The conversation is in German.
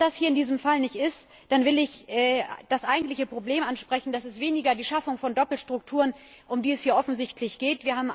Wenn es das hier in diesem Fall nicht ist, dann will ich das eigentliche Problem ansprechen, dass es weniger die Schaffung von Doppelstrukturen ist, um die es hier offensichtlich geht.